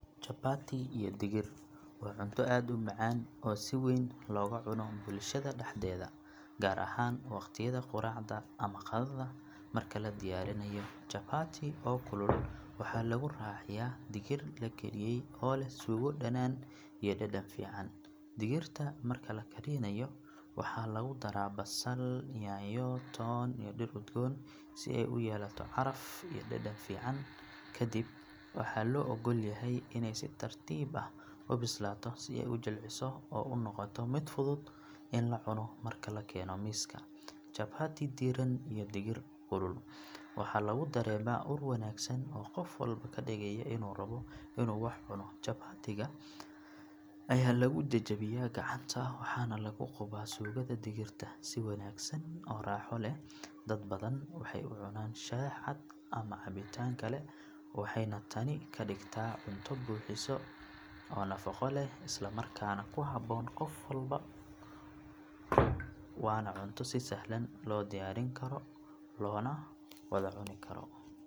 Chapati iyo digir waa cunto aad u macaan oo si weyn looga cuno bulshada dhexdeeda gaar ahaan waqtiyada quraacda ama qadada marka la diyaariyo chapati oo kulul waxaa lagu raaciyaa digir la kariyey oo leh suugo dhanaan iyo dhadhan fiican digirta marka la karinayo waxaa lagu daraa basal, yaanyo, toon iyo dhir udgoon si ay u yeelato caraf iyo dhadhan fiican kadib waxaa loo oggol yahay inay si tartiib ah u bislaato si ay u jilciso oo u noqoto mid fudud in la cuno marka la keeno miiska chapati diiran iyo digir kulul waxaa laga dareemaa ur wanaagsan oo qof walba ka dhigaya inuu rabbo inuu wax cuno chapati-ga ayaa lagu jejebiyaa gacanta waxaana lagu qubaa suugada digirta si wanaagsan oo raaxo leh dad badan waxay u cunaan shaah cad ama cabitaan kale waxayna tani ka dhigtaa cunto buuxisa oo nafaqo leh isla markaana ku habboon qof walba waana cunto si sahlan loo diyaarin karo loona wada cuni karo.